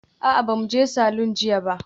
A'a, jiya ba mu je salon ba.